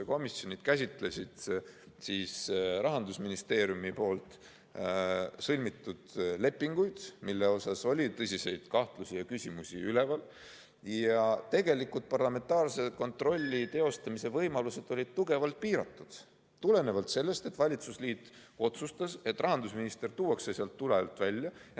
Komisjonid käsitlesid Rahandusministeeriumi sõlmitud lepinguid, mille puhul oli tõsiseid kahtlusi ja küsimusi üleval, aga tegelikult olid parlamentaarse kontrolli teostamise võimalused tugevalt piiratud, sest valitsusliit otsustas, et rahandusminister tuuakse tule alt välja.